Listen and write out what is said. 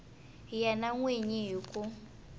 yena n wini hi ku